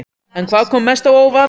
En hvað kom mest á óvart?